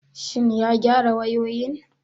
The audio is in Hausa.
Shin ya gyara wayoyin?